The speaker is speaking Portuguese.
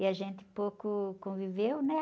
E a gente pouco conviveu, né?